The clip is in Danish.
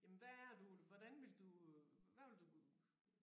Jamen hvad er du hvordan vil du hvad vil du